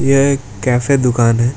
यह एक कैफे दुकान है।